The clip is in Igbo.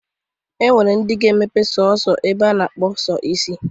O nwere ndị ga-emepe sọọsọ ebe a na-akpụ sọ isi.